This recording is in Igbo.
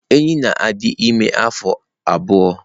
Enyí na-adị ime afọ abụọ.